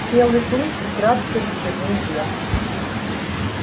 белый клык украдкой взглянул вверх